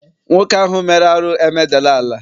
Nwoke ahụ mere arụ emedala ala.